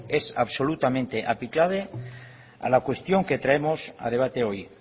es absolutamente aplicable a la cuestión que traemos a debate hoy